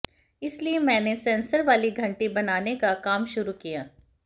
इसलिए मैंने सेंसर वाली घंटी बनाने का काम शुरु किया